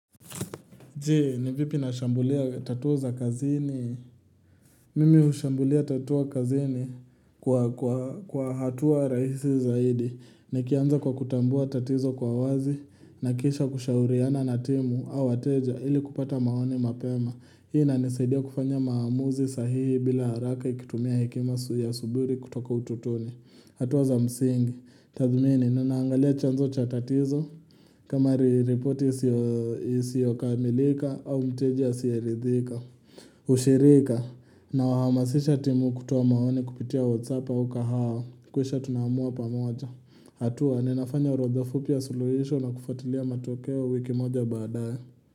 Je, ni vipi na shambulia tatuo za kazini? Mimi hushambulia tatuo kazini kwa hatua rahisi zaidi. Nikianza kwa kutambua tatizo kwa wazi, na kisha kushauriana na timu au wateja ili kupata maoni mapema. Hii inanisaidia kufanya maamuzi sahihi bila haraka ikitumia hekima ya suburi kutoka utotoni. Hatuwa za msingi. Tathmini, ninaangalia chanzo cha tatizo. Kama ripoti isiyokamilika au mteja asiyelidhika ushirika na wahamasisha timu kutoa maoni kupitia whatsapp au kahao Kisha tunaamua pamoja. Hatua, ninafanya urodha fupi ya suluhisho na kufuatilia matokeo wiki moja baadaye.